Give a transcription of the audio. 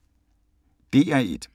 DR1